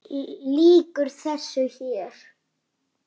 Lýkur þessu hér?